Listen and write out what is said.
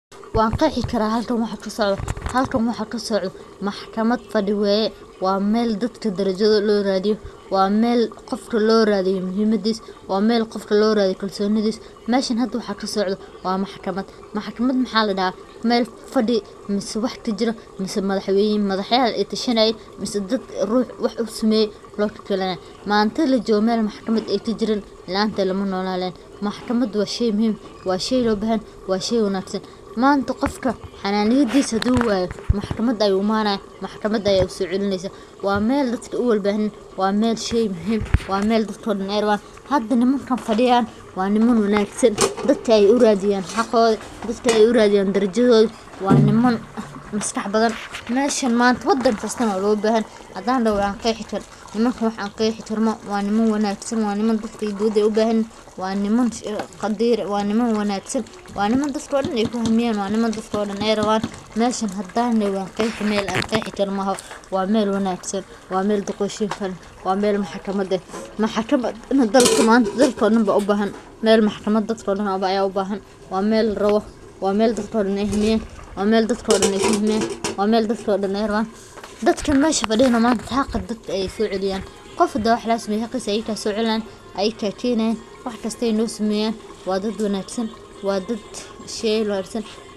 Waqexubkarah halkani waxakasicdoh, halkan waxakasicdoh maxkamat fadibwaye wa meel dadka darajada lo rathiyoh wa meel Qoofka lorathiyoh muhiimadisa wa meel Qoofka lorathiyoh kalsonitha mesha hada waxakasicdoh wa maxkamat. maxakamat waxaladaha meel fade mise waxkajiroh mise madaxweyni madaxayahi aytashanayin mise ruxx wa u sameeye maantathan lajokoh meel maxkamat inkajirin laantetha malanolani karo, maxkamat wa sheey muhim wa sheey lo bahanyahoo wa sheey wanagsan, manta Qoofka xananiyadisa handu wayoh maxkamat ayu imanayow maxkamat Aya u socelineysah wa meel dadka ueala bathanyahin wa meel dadka oo dhan handa ayaraban hada nimanga ay fadiyaan wa niman wanagsan dadka ay u rathinayan xaqootha dadaka Aya u rathiyan darajoyinga wa niman masqaxbathan meshan manta wadanga kasto wa lo bahanyahay handa dahoo waqexubkarah nimanga wa niman wanagsan wa niman qadeer wa niman wanagsan wa niman dadka I dagan fahmi Karan, dadaka daan ayaraban mesha wa Qeexi koh maaho wa meel wanagsan wa meel maxkamat eeh maxkamat dadaka oo daan u bahan meel maxkamat dadka oo dhan u bahan, wa meel dadka oo daan ay hamiyan meel dadka oo kalkuamn dadka mesha fadiyaan xaqa dadka soceliyan Qoof handi wax lagasameyoh xaqisa soceliyan Ayaka keenyan waxkasto nosameyan wa dad wanagsan wa dad sheey wangsan.